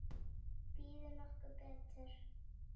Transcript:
Býður nokkur betur?